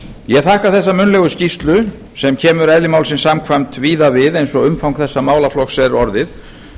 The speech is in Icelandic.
ég þakka þessa munnlegu skýrslu sem kemur eðli málsins samkvæmt víða við eins og umfang þessa málaflokks er orðið